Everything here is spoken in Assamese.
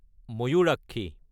ময়ূৰাক্ষী